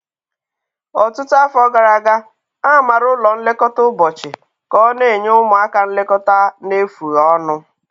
Ọtụtụ afọ gara aga, a maara ụlọ nlekọta ụbọchị ka ọ na-enye ụmụaka nlekọta na-efughi ọnụ.